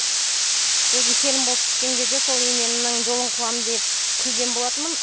өзім келін болып түскен кезде сол енемнің жолын қуамын деп күлген болатынмын